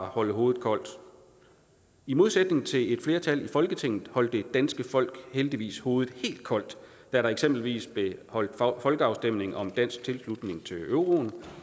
holde hovedet koldt i modsætning til et flertal i folketinget holdt det danske folk heldigvis hovedet helt koldt da der eksempelvis blev holdt folkeafstemning om dansk tilslutning til euroen